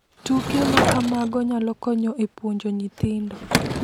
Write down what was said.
Tuke ma kamago nyalo konyo e puonjo nyithindo.